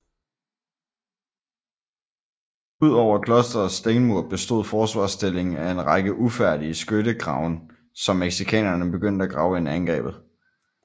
Udover klosterets stenmure bestod forsvarsstillingen af en række ufærdige skyttegraven som mexicanerne begyndte at grave inden angrebet